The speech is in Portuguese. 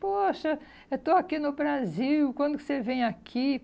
Poxa, eu estou aqui no Brasil, quando você vem aqui?